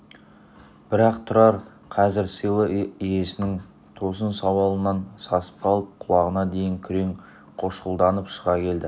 бірақ тұрар қазір сыйлы иесінің тосын сауалынан сасып қалып құлағына дейін күрең қошқылданып шыға келді